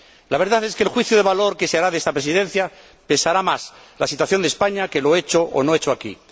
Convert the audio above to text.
La verdad es que en el juicio de valor que se hará de esta Presidencia pesará más la situación de España que lo hecho o no hecho aquí.